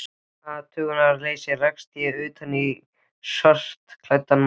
athugunarleysi rakst ég utan í skartklæddan mann.